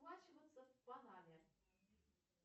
расплачиваться в панаме